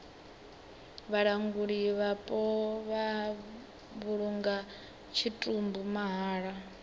vhalanguli vhapo vha vhulunga tshitumbu mahala